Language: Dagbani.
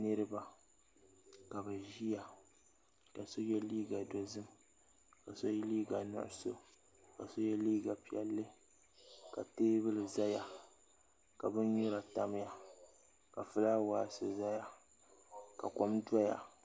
Niriba ka bɛ ʒia ka so ye liiga dozim ka so ye liiga nuɣuso ka so ye liiga piɛlli ka teebuli zaya ka binyɛra tamya ka filaawaasi zaya ka kom doya.